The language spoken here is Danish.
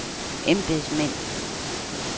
embedsmænd